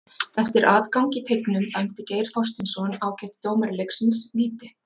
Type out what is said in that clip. Eftir atgang í teignum dæmdi Geir Þorsteinsson, ágætur dómari leiksins, víti.